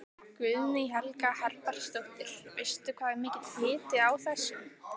Guðný Helga Herbertsdóttir: Veistu hvað er mikill hiti á þessu?